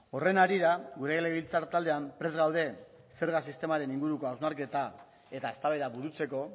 horren harira gure legebiltzar taldean prest gaude zerga sistemaren inguruko hausnarketa eta eztabaida burutzeko